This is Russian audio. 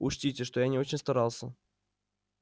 учтите что я не очень старался